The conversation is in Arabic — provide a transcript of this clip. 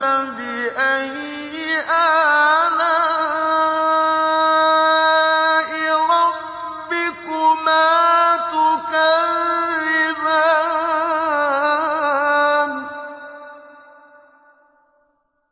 فَبِأَيِّ آلَاءِ رَبِّكُمَا تُكَذِّبَانِ